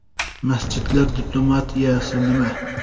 Masjidlar diplomatiyasi nima?